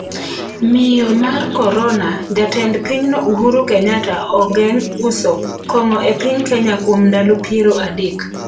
Miyo mar Korona: Jatend pinyno Uhuru Kenyatta ogeng' uso kong'o e piny Kenya kuom ndalo 30